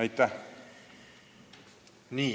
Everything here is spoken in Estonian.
Aitäh!